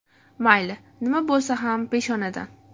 Mayli, nima bo‘lsa ham peshonadan.